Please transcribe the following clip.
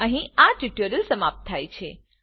અહીં આ ટ્યુટોરીયલ સમાપ્ત થાય છે